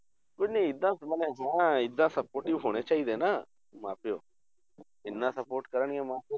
ਨਹੀਂ ਏਦਾਂ ਮਨੇ ਹਾਂ ਏਦਾਂ supportive ਹੋਣੇ ਚਾਹੀਦੇੇ ਆ ਨਾ ਮਾਂ ਪਿਓ ਇੰਨਾ support ਕਰਨਗੇ ਮਾਂ ਪਿਓ,